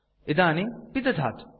इदानीं पिदधातु